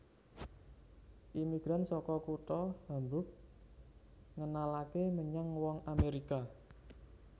Imigran saka kutha Hamburg ngenalaké menyang wong Amèrika